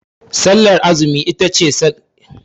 Sallar azumi itace ƙaramar sallah a musulunci